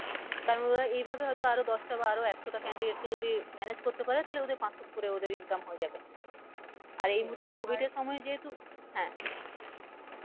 কারণ ওরা এইভাবে হয় তো আরও দশটা বা আরও একশো টা candidate কে যদি manage করতে পারে তাহলে ওদের পাঁচশো উপরে ওদের income হয়েযাবে আর এই মুহুর্তে covid এর সময় যেহেতু হ্যাঁ